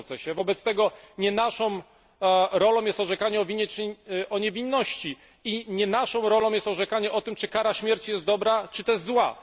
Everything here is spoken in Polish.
Wobec tego nie naszą rolą jest orzekanie o winie czy niewinności i nie naszą rolą jest orzekanie o tym, czy kara śmierci jest dobra czy też zła.